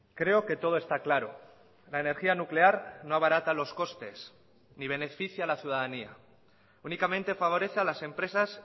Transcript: creo que todo está claro la energía nuclear no abarata los costes ni beneficia a la ciudadanía únicamente favorece a las empresas